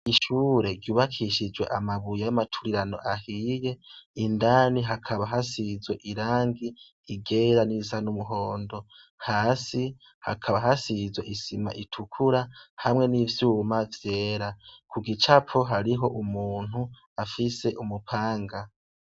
Ishure ryubakishijwe amabuye y’amaturirano ahiye, indani hakaba hasize irangi ryera n'irisa n’umuhondo. Hasi hakaba hasize isima itukura hamwe n’ivyuma vyera. Ku gicapo hariho umuntu afise umupanga.